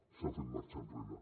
s’ha fet marxa enrere